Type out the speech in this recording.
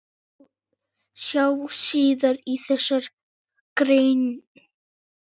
Sjá síðar í þessari grein.